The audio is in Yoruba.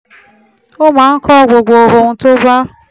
ó máa ń kọ gbogbo ohun tó bá